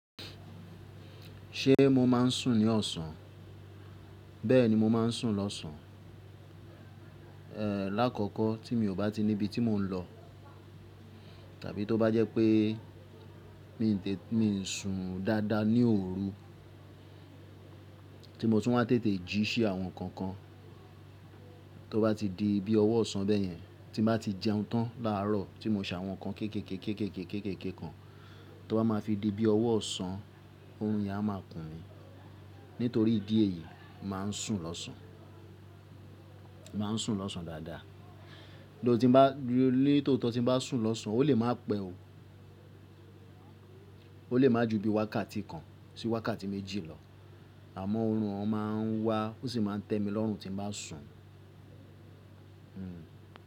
Ṣe mo ma ń sùn ní ọ̀sán? Bẹ́ẹ̀ni mo máa ń sùn lọ́sàn. Ẹ̀, lákọ́kọ́ tí mi ò bá ti nibi tí mò ń lọ tàbí tó bá jẹ́ pé mi ń sùn dáadáa ní òru, tí mo tún máa tètè jí ṣe àwọn nǹkan kan, tó bá ti dii bi ọwọ́ ọ̀sán bẹ́yẹn tí n bá ti jẹun tán láárọ̀, tí mo ṣe àwọn nǹkan kékéké kékéké kan, tó bá máa fi di bi ọwọ́ ọ̀sán, òórùn yìí a máa kun mi. Nítorí ìdí èyí, mo máa ń sùn lọ́sàn, mo máa ń sùn lọ́sàn dáadáa. Tho, tín ba, ní tòótò tí n bá sùn lọ́sàn, ó lè má pẹ́ o. Ó lè má ju bíi wákàtí kan sí wákàtí méjì lọ. Àmọ́ òórùn ọ máa ń wá, ó sì máa ń tẹ̀mí lọ́rùn tí n bá sùn. Hmm.